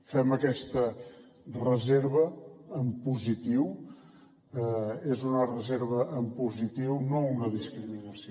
fem aquesta reserva en positiu és una reserva en positiu no una discriminació